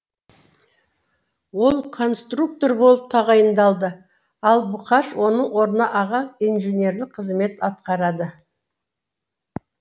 ол конструктор болып тағайындалды ал бұқаш оның орнында аға инженерлік қызмет атқарады